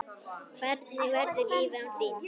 Hvernig verður lífið án þín?